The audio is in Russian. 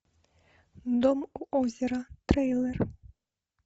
дом у озера трейлер